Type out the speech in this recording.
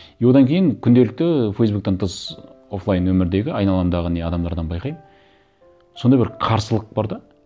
и одан кейін күнделікті фейсбуктен тыс офлайн өмірдегі айналамдағы не адамдардан байқаймын сондай бір қарсылық бар да